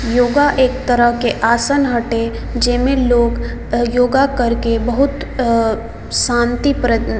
योगा एक तरह के आसन हटे जे में लोग योगा करके बहुत अ शांति प --